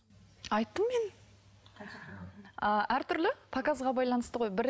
айттым мен ыыы әртүрлі показға байланысты ғой